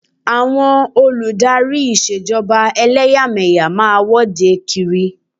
Àwọn olù dárí Ìṣèjọba ẹlẹ́yàmẹ̀yà máa wọ́de kiri.